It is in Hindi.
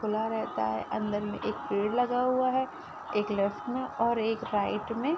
खुला रहता है अंदर में एक पेड़ लगा हुआ है एक लेफ्ट में और एक राईट में।